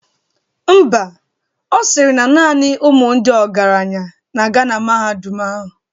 Ḿbà, Ọ sịrị na naani ụmụ ndị ọgaranya na-aga na mahadum ahụ.